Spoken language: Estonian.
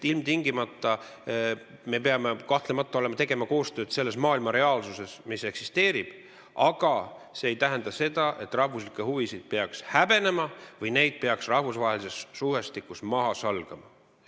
Me peame kahtlemata tegema koostööd selles reaalsuses, mis maailmas eksisteerib, aga see ei tähenda, et rahvuslikke huvisid peaks häbenema või neid peaks rahvusvahelises suhtestikus maha salgama.